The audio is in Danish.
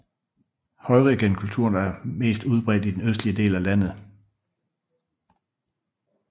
Heurigenkulturen er mest udbredt i den østlige del af landet